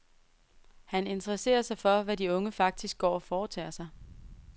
Han interesserer sig for, hvad de unge faktisk går og foretager sig.